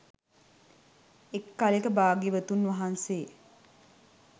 එක් කලෙක භාග්‍යවතුන් වහන්සේ